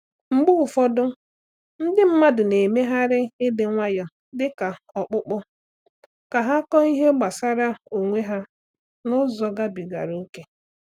Mgbe ụfọdụ, ndị mmadụ na-emegharị ịdị nwayọọ dị ka ọkpụkpọ ka ha kọọ ihe gbasara onwe ha n’ụzọ gabigara ókè.